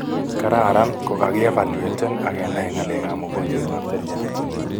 kararan kokakievaluaten akenai ngalekap mogonjwet ap seriat